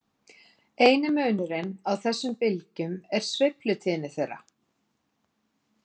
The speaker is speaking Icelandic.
Eini munurinn á þessum bylgjum er sveiflutíðni þeirra.